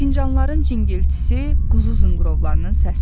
Fincanların cıngiltisi, quzu zınqırovlarının səsidir.